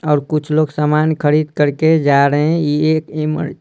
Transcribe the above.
और कुछ लोग सामान खरीद कर के जा रहे हैं ये एक इमर--